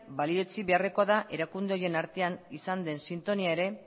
balioetsi beharrekoa da erakunde horien artean izan den sintonia ere